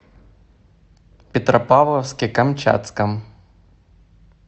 петропавловске камчатском